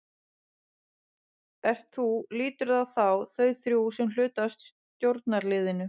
Ert þú, líturðu á þá, þau þrjú sem hluta af stjórnarliðinu?